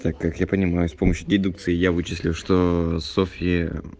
так как я понимаю с помощью дедукции я вычислил что софья